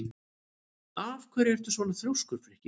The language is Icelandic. Af hverju ertu svona þrjóskur, Frikki?